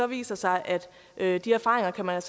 viser sig at de erfaringer kan man